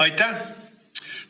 Aitäh!